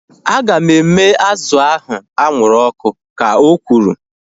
Aga m eme azụ ahu anwụrụ ọkụ ka o kwuru